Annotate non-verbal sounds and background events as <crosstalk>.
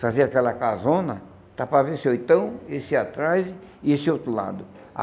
Fazia aquela casona, está para, <unintelligible> esse atrás e esse outro lado.